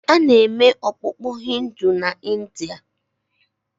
A na-eme okpukpe Hindu na India.